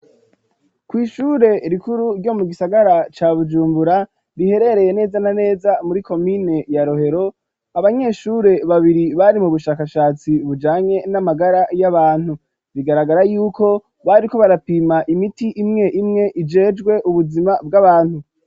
Kw'ishure rikuru ryo mu gisagara ca Bujumbura riherereye neza na neza muri komine ya Rohero . Abanyeshure babiri bari mu bushakashatsi bujanye n'amagara y'abantu. Bigaragara yuko bariko barapima imiti imwe imwe ijejwe ubuzima bw'abantu.